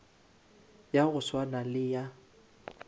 ya go swana le ya